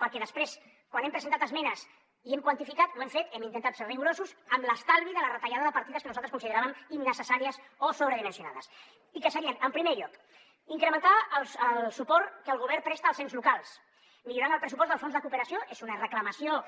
perquè després quan hem presentat esmenes i ho hem quantificat hem intentat ser rigorosos amb l’estalvi de la retallada de partides que nosaltres consideràvem innecessàries o sobredimensionades i que serien en primer lloc incrementar el suport que el govern presta als ens locals millorant el pressupost del fons de cooperació és una reclamació